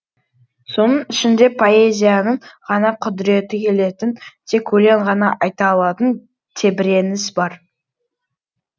соның ішінде поэзияның ғана құдіреті келетін тек өлең ғана айта алатын тебіреніс бар